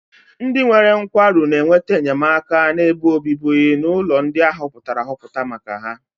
Ndị nwere nkwarụ na-enweta enyemaka na ebe obibi n'ụlọ ndị a họpụtara ahọpụta maka ha.